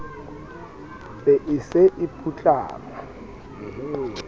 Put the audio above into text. be e se e putlama